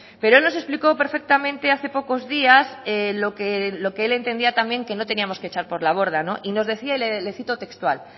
pero él nos explicó perfectamente hace pocos días lo que el entendía también lo que no teníamos que echar por la borda y nos decía y le cito textual